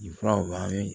Nin furaw a bɛ